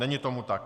Není tomu tak.